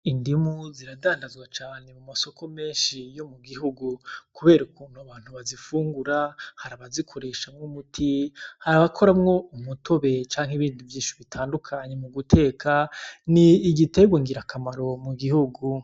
Indimu ziradandanzwa cane mu masoko menshi yo mu gihugu kubera ukuntu abantu bazifungura harabazikoreshamwo umuti harabakoramwo umutobe canke ibindi vyinshi bitandukanye mu guteka n'igitegwa ngirakamaro mu gihugu.